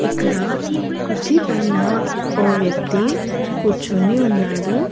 ఇక్కడ కుర్చీ పైన ఓ వ్యక్తి కూర్చొని ఉన్నాడు.